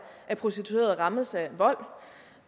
at prostituerede rammes af vold